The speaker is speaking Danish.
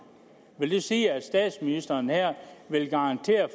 vil det sige at statsministeren her vil garantere